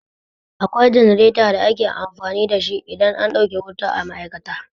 Akwai jenareta da ake amfani da shi idan an ɗauke wuta a ma'aikata.